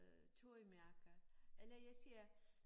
Øh tøjmærker eller jeg siger